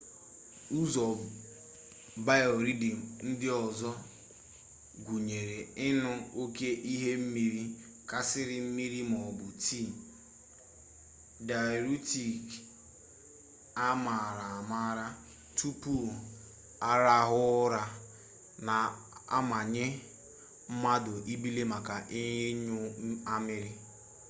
ụzọ biorhythm ndị ọzọ gụnyere ịñụ oke ihe mmiri karịsịa mmiri maọbụ tii dayuretik a maara amaara tupu arahụ ụra na-amanye mmadụ ibili maka ịnyụ amịrị